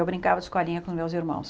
Eu brincava de escolinha com meus irmãos.